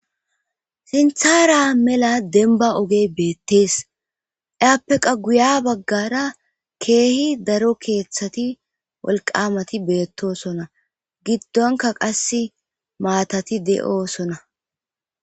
Sinthara mela denba ogey beettees eappeqa guya baggara keehi daro keeththati wolqamati beettosona giddonka qass maatati de7osona.